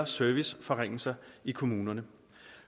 serviceforringelser i kommunerne